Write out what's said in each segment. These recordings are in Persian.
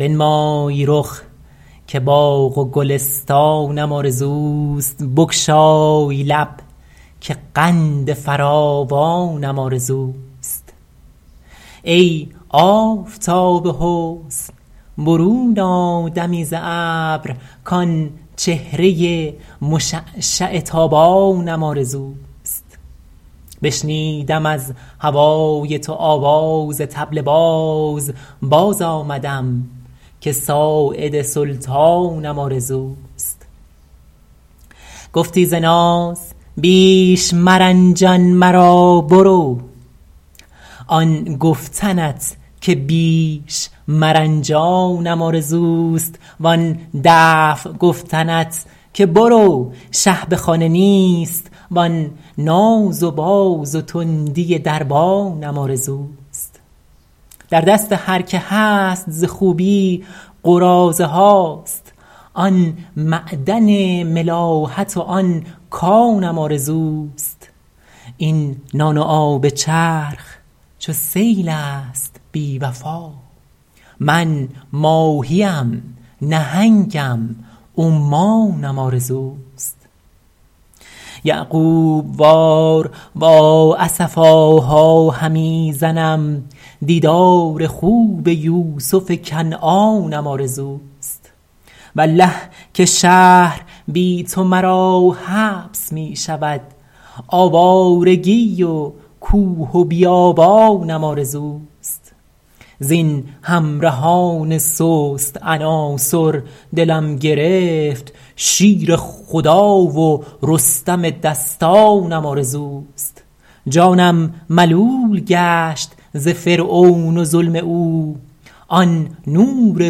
بنمای رخ که باغ و گلستانم آرزوست بگشای لب که قند فراوانم آرزوست ای آفتاب حسن برون آ دمی ز ابر کآن چهره مشعشع تابانم آرزوست بشنودم از هوای تو آواز طبل باز باز آمدم که ساعد سلطانم آرزوست گفتی ز ناز بیش مرنجان مرا برو آن گفتنت که بیش مرنجانم آرزوست وآن دفع گفتنت که برو شه به خانه نیست وآن ناز و باز و تندی دربانم آرزوست در دست هر که هست ز خوبی قراضه هاست آن معدن ملاحت و آن کانم آرزوست این نان و آب چرخ چو سیل است بی وفا من ماهی ام نهنگم و عمانم آرزوست یعقوب وار وا اسفاها همی زنم دیدار خوب یوسف کنعانم آرزوست والله که شهر بی تو مرا حبس می شود آوارگی و کوه و بیابانم آرزوست زین همرهان سست عناصر دلم گرفت شیر خدا و رستم دستانم آرزوست جانم ملول گشت ز فرعون و ظلم او آن نور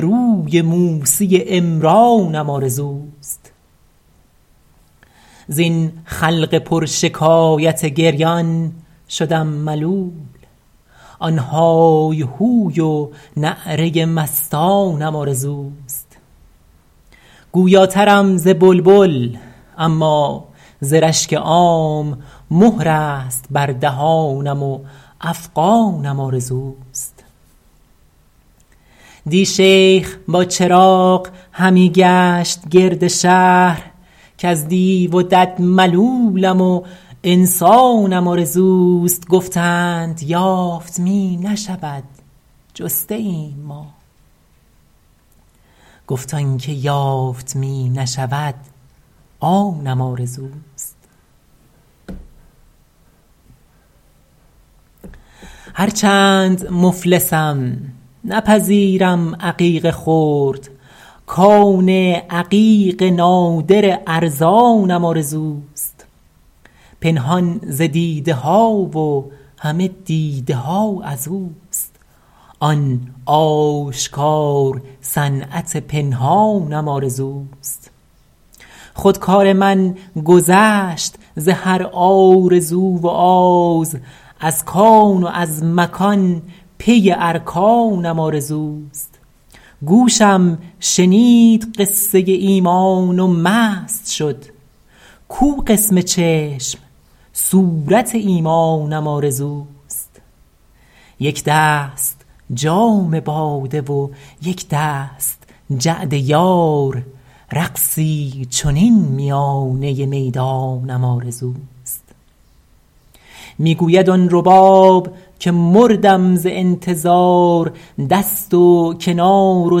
روی موسی عمرانم آرزوست زین خلق پرشکایت گریان شدم ملول آن های هوی و نعره مستانم آرزوست گویاترم ز بلبل اما ز رشک عام مهر است بر دهانم و افغانم آرزوست دی شیخ با چراغ همی گشت گرد شهر کز دیو و دد ملولم و انسانم آرزوست گفتند یافت می نشود جسته ایم ما گفت آن چه یافت می نشود آنم آرزوست هرچند مفلسم نپذیرم عقیق خرد کان عقیق نادر ارزانم آرزوست پنهان ز دیده ها و همه دیده ها از اوست آن آشکار صنعت پنهانم آرزوست خود کار من گذشت ز هر آرزو و آز از کان و از مکان پی ارکانم آرزوست گوشم شنید قصه ایمان و مست شد کو قسم چشم صورت ایمانم آرزوست یک دست جام باده و یک دست جعد یار رقصی چنین میانه میدانم آرزوست می گوید آن رباب که مردم ز انتظار دست و کنار و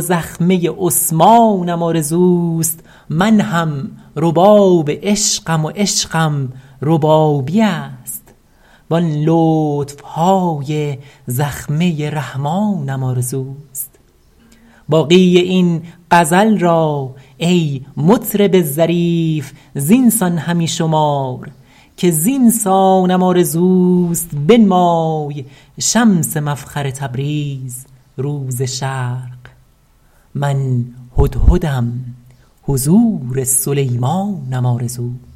زخمه عثمانم آرزوست من هم رباب عشقم و عشقم ربابی است وآن لطف های زخمه رحمانم آرزوست باقی این غزل را ای مطرب ظریف زین سان همی شمار که زین سانم آرزوست بنمای شمس مفخر تبریز رو ز شرق من هدهدم حضور سلیمانم آرزوست